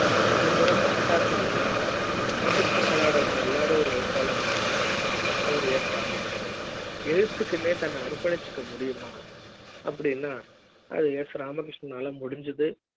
கொஞ்சம் கூட பணத்தாசை இல்லாத ஒரு பக்கத்து படம் இல்லாத ஒரு எழுத்தாளர் அப்படி னா ஒரு ராமகிருஷ்ணன் எழுத்துக்கு நே தன்னை அர்பணிசுக்க முடியுமா அப்படின்னா அது s ராமகிருஷ்ணா ல முடிஞ்சது